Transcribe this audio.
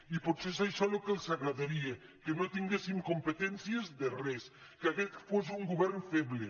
i potser és això el que els agradaria que no tin·guéssim competències de res que aquest fos un govern feble